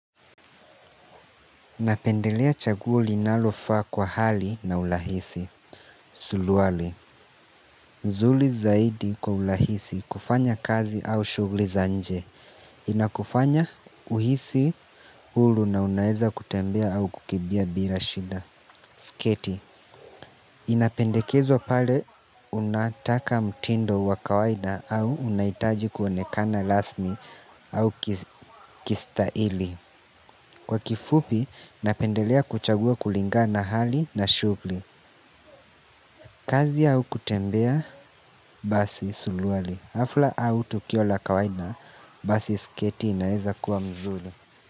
Napendelea chaguo linalofaa kwa hali na urahisi. Suluali. Nzuri zaidi kwa urahisi kufanya kazi au shuguli za nje. Inakufanya uhisi huru na unaeza kutembea au kukimbia bila shida. Sketi. Inapendekezwa pale unataka mtindo wa kawaida au unahitaji kuonekana rasmi au kistaili. Kwa kifupi, napendelea kuchagua kulingana hali na shuguli. Kazi au kutembea suruali hafla au tukio la kawaida basi sketi inaeza kuwa mzuri.